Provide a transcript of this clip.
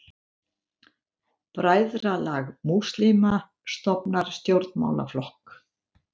Bræðralag múslíma stofnar stjórnmálaflokk